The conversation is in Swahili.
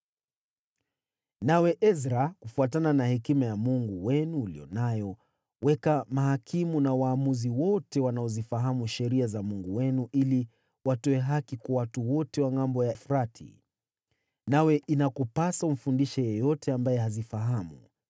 Nawe Ezra, kufuatana na hekima ya Mungu wenu uliyo nayo, weka mahakimu na waamuzi wote wanaozifahamu sheria za Mungu wenu ili watoe haki kwa watu wote wa Ngʼambo ya Mto Frati. Nawe inakupasa umfundishe yeyote ambaye hazifahamu.